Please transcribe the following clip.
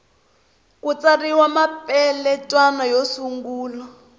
ku tsariwa mapeletwana yo sungula